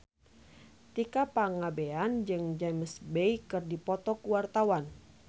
Tika Pangabean jeung James Bay keur dipoto ku wartawan